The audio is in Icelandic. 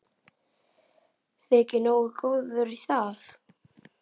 Þyki nógu góður í það.